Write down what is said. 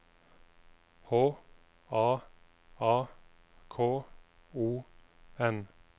H A A K O N